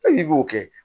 E n'i b'o kɛ